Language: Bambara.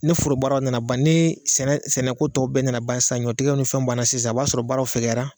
Ne forobaaraw nana ban ni sɛnɛko tɔw bɛɛ nana ba sa ɲɔtigɛw ni fɛnw banna sisan a b'a sɔrɔ baaraw fɛgɛyara